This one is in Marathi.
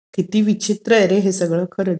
किती विचित्र आहे रे हे सगळं, खरंच.